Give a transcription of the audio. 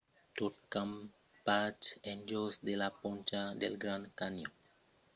tot campatge en jos de la poncha del grand canyon necessita un permés pel rèirepaís